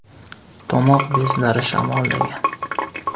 Tomoq bezlari shamollagan!